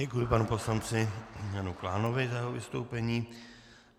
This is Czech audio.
Děkuji panu poslanci Janu Klánovi za jeho vystoupení.